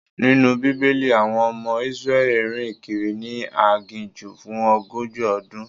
Nínú Bíbélì, àwọn ọmọ Israeli rìn kiri ni aginjù fún ogójì ọdún.